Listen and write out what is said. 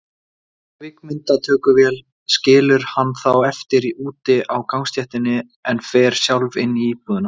Kvikmyndatökuvélin skilur hann þá eftir úti á gangstéttinni, en fer sjálf inn í íbúðina.